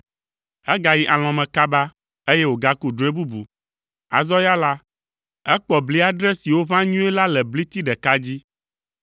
Egayi alɔ̃ me kaba, eye wògaku drɔ̃e bubu. Azɔ ya la, ekpɔ bli adre siwo ʋã nyuie la le bliti ɖeka dzi.